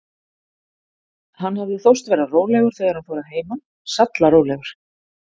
Hann hafði þóst vera rólegur, þegar hann fór að heiman, sallarólegur.